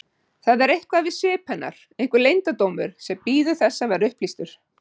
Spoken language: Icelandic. Það er eitthvað við svip hennar, einhver leyndardómur sem bíður þess að verða upplýstur.